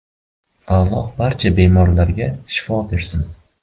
Alloh barcha bemorlarga shifo bersin.